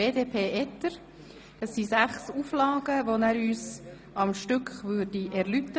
Der Antragsteller wird uns sechs Auflagen am Stück erläutern.